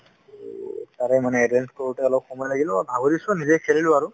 ত' তাৰে মানে arrange কৰোতে অলপ সময় লাগিল আৰু ভাগৰিছো আৰু নিজে খেলিছো আৰু ,